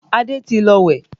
Adé ti lọ wẹ̀